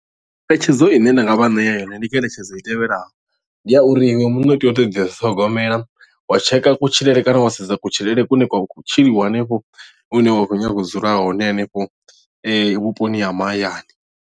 Ngeletshedzo ine nda nga vha ṋea yone ndi ngeletshedzo i tevhelaho ndi ya uri iwe muṋe u tea u tea u ḓi ṱhogomela wa tsheka kutshilele kana wa sedza kutshilele kune kwa khou tshiḽiwa hanefho hune wa khou nyaga u dzula hone hanefho vhuponi ha mahayani.